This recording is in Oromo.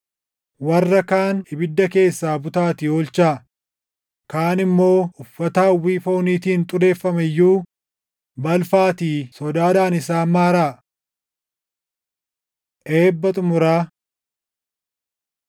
Warra kaan ibidda keessaa butaatii oolchaa; kaan immoo uffata hawwii fooniitiin xureeffame iyyuu balfaatii sodaadhaan isaan maaraa. Eebba Xumuraa